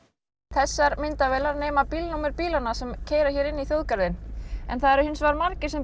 þessar myndavélar nema bílanna sem keyra inn í þjóðgarðinn en það eru hins vegar margir sem